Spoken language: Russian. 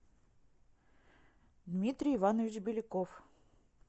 дмитрий иванович беляков